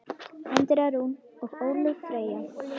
Andrea Rún og Ólöf Freyja.